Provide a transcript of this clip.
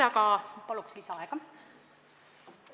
Palun lisaaega!